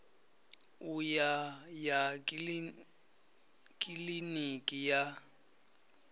u ya ya kiliniki ya